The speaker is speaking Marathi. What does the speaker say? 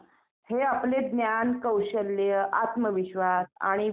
आपण यात्रेमध्ये गेल्यानंतर आपण तिथे काय काय करू शकतो मग ?